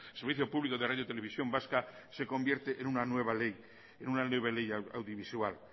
servicio público de radiotelevisión vasca se convierta en una nueva ley audiovisual